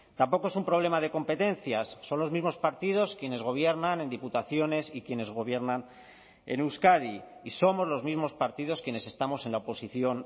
tampoco es un problema de competencias son los mismos partidos quienes gobiernan en diputaciones y quienes gobiernan en euskadi y somos los mismos partidos quienes estamos en la oposición